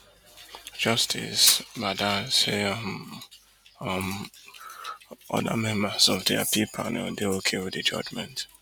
justice bada say um um oda members of di appeal panel dey okay wit di judgement